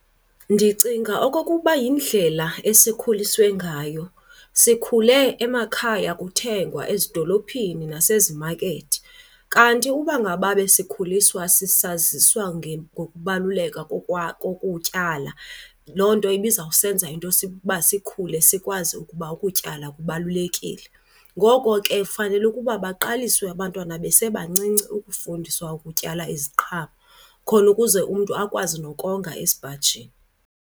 Ndicinga okokuba yindlela esikhuliswe ngayo, sikhule emakhaya kuthengwa ezidolophini nasezimakethi. Kanti uba ngaba besikhuliswa sisaziswa ngokubaluleka kokutyala, loo nto ibizawusenza into uba sikhule sikwazi ukuba ukutyala kubalulekile. Ngoko ke fanele ukuba baqaliswe abantwana besebancinci ukufundiswa ukutyala iziqhamo khona ukuze umntu akwazi nokonga esipajini.